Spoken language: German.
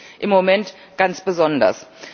Und sie ist es im Moment ganz besonders.